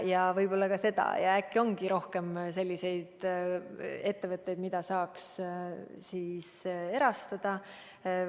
Ja võib ju olla ka nii, et äkki ongi rohkem selliseid ettevõtteid, mida saaks erastada.